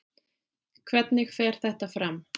Hvernig fer þetta fram?